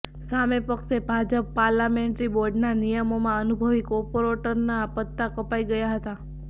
સામે પક્ષે ભાજપ પાર્લામેન્ટરી બોર્ડના નિયમોમાં અનુભવી કોર્પોરેટરોનાં પત્તા કપાઈ ગયાં હતાં